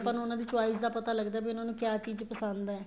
ਆਪਾਂ ਨੂੰ ਉਹਨਾ ਦੀ choice ਦਾ ਪਤਾ ਲੱਗਦਾ ਹੈ ਵੀ ਉਹਨਾ ਨੂੰ ਕਿਆ ਚੀਜ਼ ਪਸੰਦ ਏ